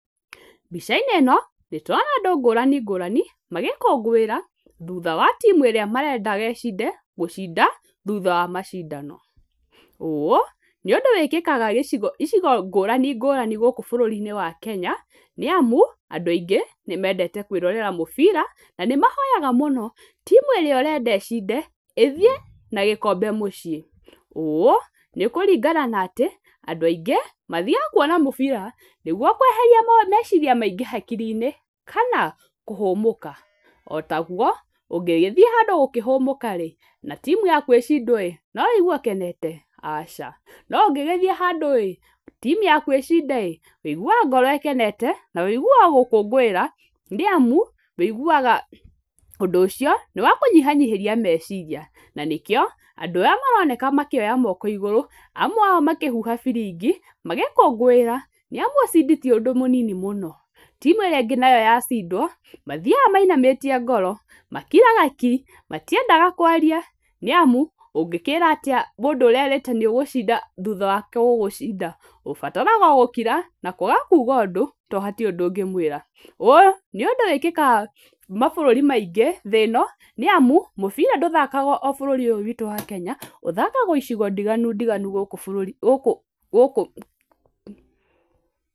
Mbica-inĩ ĩno nĩ tũrona andũ ngũrani ngũrani magĩkũngũĩra thutha wa team ĩrĩa marendaga ĩcinde gũcinda thutha wa macindano. Ũũ nĩ ũndũ wĩkĩkaga icigo-inĩ ngũrani ngũrani gũkũ bũrũri-inĩ wa Kenya, nĩ amu andũ aingĩ nĩ mendete kwĩrorera mũbira na nĩ mahoyaga mũno, team ĩrĩa ũrenda ĩcinde ĩthiĩ na gĩkombe mũciĩ. Ũũ nĩ kũringana na atĩ andũ aingĩ mathiaga kuona mũbira nĩguo kweheria meciria maingĩ hakiri-inĩ kana kũhũmũka. Otaguo ũngĩgĩthiĩ handũ kũhũmũka rĩ na team yaku ĩcindwo rĩ, no ũigwe ũkenete? Aca. No ũngĩgĩthiĩ handũ ĩĩ team yaku icinde rĩ, ũiguaga ngoro ĩkenete na ũiguaga gũkũngũĩra nĩ amu ũiguaga ũndũ ũcio nĩ wakũnyihanyihĩria meciria. Na nĩkĩo andũ arĩa maroneka makĩoya moko igũrũ, amwe ao makĩhuha biringi magĩkũngũĩra, nĩ amu ushindi ti ũndũ mũnini mũno. Team ĩrĩa ĩngĩ nayo yacindwo, mathiaga mainamĩtie ngoro, makiraga ki, matiendaga kwaria nĩ amu, ũngĩkĩra atĩa mũndũ ũrerĩte nĩ ũgũcinda thutha wake gũgũcinda? Ũbataraga o gũkira na kwaga kuga ũndũ tondũ hatirĩ ũndũ ũngĩmwĩra. Ũũ nĩ ũndũ wĩkĩkaga mabũrũri maingĩ thĩ ĩno nĩ amu, mũbira ndũthakagwo o bũrũri-inĩ ũyũ witũ wa Kenya, ũthakagwo icigo ndiganu ndiganu gũkũ...